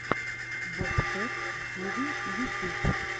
бобкэт тиви ютюб